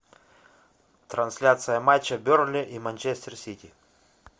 трансляция матча бернли и манчестер сити